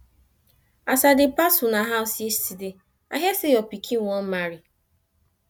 as i dey pass una house yesterday i hear say your pikin wan marry